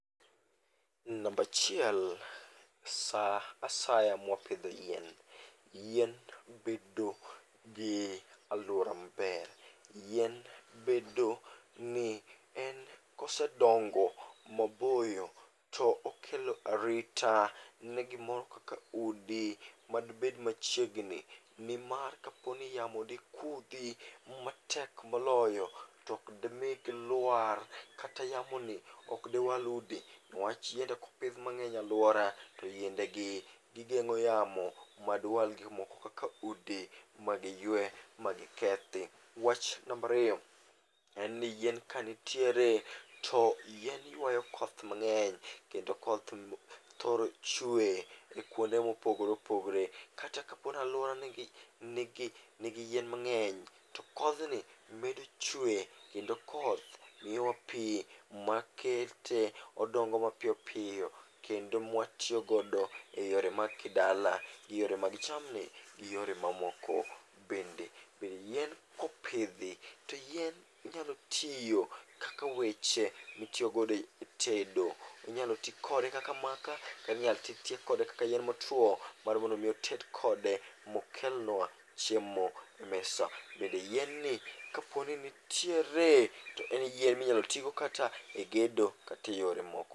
Nambachiel sa asaya mwapidho yien, yien bedo gi alwora maber. Yien bedo ni en kosedongo maboyo to okelo arita ne gimoro kaka udi madibed machiegni. Nimar kadipo ni yamo dikudhi matek moloyo, tok demi gilwar kata yamo ni dewal udi. Niwach yiende klopidh mang'eny e alwora, to yiende gi gigeng'o yamo madiwal gik moko kaka udi ma gi ywe ma gi kethi. Wach nambariyo en ni yien kanitiere to yien ywayo koth mang'eny kendo koth thoro chwe e kuonde mopogore opogore. Kata kapo nalwora nigi yien mang'eny, to kodhni medo chwe kendo koth ywa pi makete odongo mapiyo piyo kendo mwatiyogodo e yore mag kidala, gi yore mag jamni, gi yore mamoko bende. Bende yien kopidhi, to yien nyalo tiyo kaka weche mitiyogodo e tedo. Inyalo ti kode kaka maka, katinyal ti atiya kode kaka yien otwo mar mondo mi oted kode mokelnwa chiemo e mesa. Bende yien ni kaponi nitiere, to en yien minyalotigo kata e gedo kateyore moko.